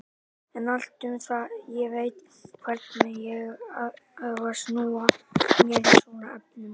En allt um það, ég veit hvernig ég á að snúa mér í svona efnum.